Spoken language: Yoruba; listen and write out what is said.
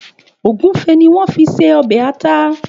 Ògúnfe ni wọ́n fi ṣe ọbẹ̀ ata.